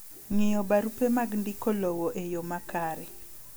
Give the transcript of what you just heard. Ng'iyo barupe mag ndiko lowo e yoo makare.